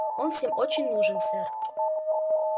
он всем очень нужен сэр